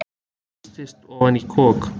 Þrýstist ofan í kok.